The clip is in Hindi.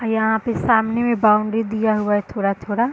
यहाँ पे सामने में बॉउंड्री दिया हुआ है थोड़ा-थोड़ा --